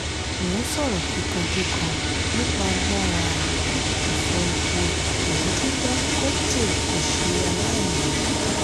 mo ń sọ̀rọ̀ kíkankíkan nípa agbára ifọ epo èyí tí dangote kò ṣe aláìní.